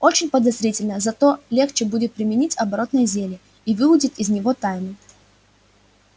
очень подозрительно зато легче будет применить оборотное зелье и выудить из него тайну